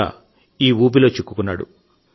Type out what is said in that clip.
కరోనాను ఓడించిన మరో వ్యక్తి మనతో కలుస్తున్నారు